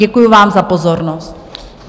Děkuji vám za pozornost.